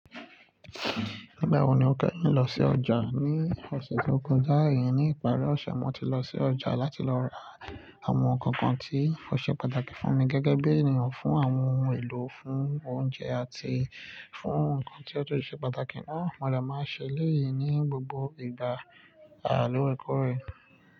Nígbà wo ni o kẹ́yìn lọ sí ọjà? Ní ọ̀sẹ̀ tó kọjá, iyen ní ìparí ọ̀sẹ̀, mo ti lọ sí ọjà láti lọ ra àwọn nǹkan kan tí ó ṣe pàtàkì fún mi gẹ́gẹ́ bí ènìyàn, fún àwọn ohun èlò fún oúnjẹ àti fún ohun kan tí ó tó ti ṣe pàtàkì náà. Mo dẹ̀ máa ń ṣe ẹ́leyi ní gbogbo ìgbà. Loòrẹ̀kórẹ̀